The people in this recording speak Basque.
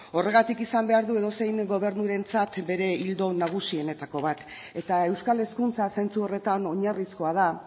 horregatik izan behar du edozein gobernurentzat bere ildo nagusienetako bat eta euskal hezkuntza zentzu horretan oinarrizkoa da